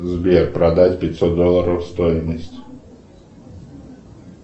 сбер продать пятьсот долларов стоимость